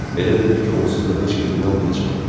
Elə bilir ki, onsuz da heç kim inanmayacaq.